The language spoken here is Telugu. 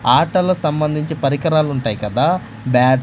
ఆటల సంబంధించి పరికరాలుంటాయి కదా బ్యాట్ --